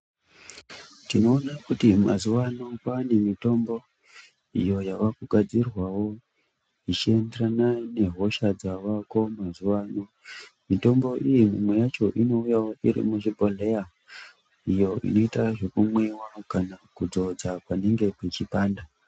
Tinoona kuti mazuvano kwaanemitombo iyo yavakugadzirwawo zvichienderana nehosha dzavako mazuvano. Mitombo iyi imwe yacho inouyawo iri muzvibhohleya iyo inoita zvekumwiwa kana kudzodza panenge pechipanda.